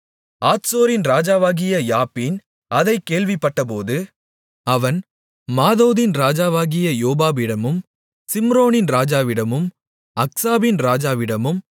ஆத்சோரின் ராஜாவாகிய யாபீன் அதைக் கேள்விப்பட்டபோது அவன் மாதோனின் ராஜாவாகிய யோபாபிடமும் சிம்ரோனின் ராஜாவிடமும் அக்சாபின் ராஜாவிடமும்